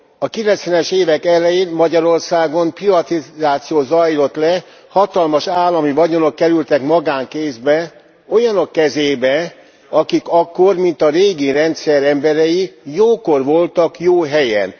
A 90 es évek elején Magyarországon privatizáció zajlott le, hatalmas állami vagyonok kerültek magánkézbe, olyanok kezébe, akik akkor mint a régi rendszer emberei, jókor voltak jó helyen.